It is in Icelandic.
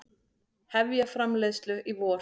Hefja framleiðslu í vor